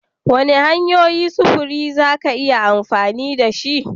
Wane hanyoyin sufuri za ka yi amfani da shi?